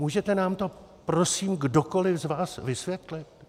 Můžete nám to prosím kdokoli z vás vysvětlit?